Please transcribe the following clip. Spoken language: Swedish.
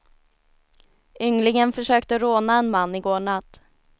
Ynglingen försökte råna en man i går natt.